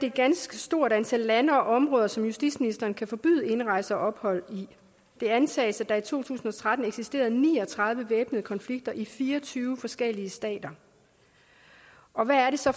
et ganske stort antal lande og områder som justitsministeren kan forbyde indrejse og ophold i det antages at der i to tusind og tretten eksisterede ni og tredive væbnede konflikter i fire og tyve forskellige stater og hvad er det så